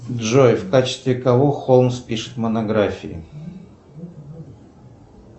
джой в качестве кого холмс пишет монографии